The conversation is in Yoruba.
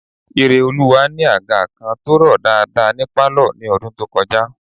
Ireoluwa ni àga kan tó rọ̀ dáadáa ní pálọ̀ ní ọdún tó kọjá